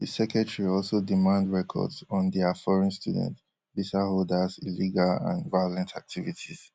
di secretary also demand records on dia foreign student visa holders illegal and violent activities